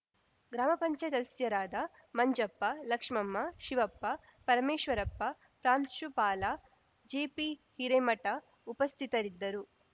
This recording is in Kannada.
ಗ್ರಾಮ ಪಂಚಾಯತ್ ಸದಸ್ಯರಾದ ಮಂಜಪ್ಪ ಲಕ್ಷ್ಮಮ್ಮ ಶಿವಪ್ಪ ಪರಮೇಶ್ವರಪ್ಪ ಪ್ರಾಂಶುಪಾಲ ಜೆಪಿಹಿರೇಮಠ ಉಪಸ್ಥಿತರಿದ್ದರು